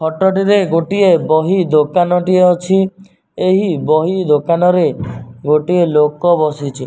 Photo ଟି ରେ ଗୋଟିଏ ବହି ଦୋକାନ ଟିଏ ଅଛି ଏହି ବହି ଦୋକାନ ରେ ଗୋଟେ ଲୋକ ବସିଚି ।